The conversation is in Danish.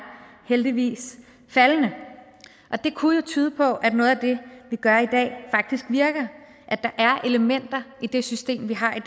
heldigvis faldende og det kunne jo tyde på at noget af det vi gør i dag faktisk virker at der er elementer i det system vi har i